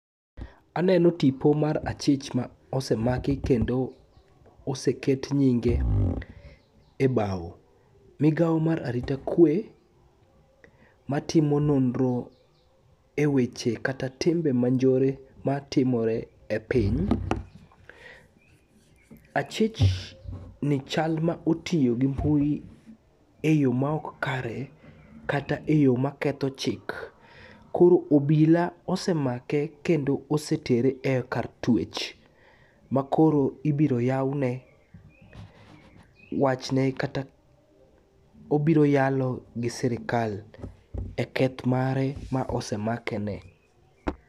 Aneno tipo mar achich ma osemaki kendo oseket nyinge e bawo. Migawo mar arita kwe matimo nonro e weche kata timbe manjore matimore e piny, achich ni chal ma otiyo gi mbui e yo ma ok kare kata e yo maketho chik. koro obila osemake kendo osetere e kar twech makoro ibiro yawne wachne kata obiro yalo gi sirikal e keth mare ma osemakene.